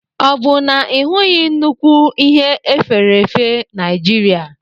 O bu na Ị hụghị nnukw Ihe efèrèèfé Nijir5?